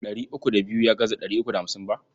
Ɗari uku da biyu ya gaza ɗari uku da hamsin ba.